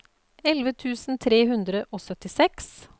elleve tusen tre hundre og syttiseks